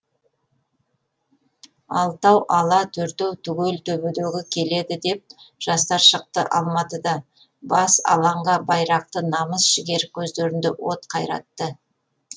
алтау ала төртеу түгел төбедегі келеді деп жастар шықты алматыда бас алаңға байрақты намыс жігер көздерінде от қайратты